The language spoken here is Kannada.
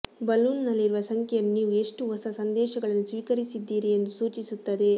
ಬಲೂನ್ನಲ್ಲಿರುವ ಸಂಖ್ಯೆಯನ್ನು ನೀವು ಎಷ್ಟು ಹೊಸ ಸಂದೇಶಗಳನ್ನು ಸ್ವೀಕರಿಸಿದ್ದೀರಿ ಎಂದು ಸೂಚಿಸುತ್ತದೆ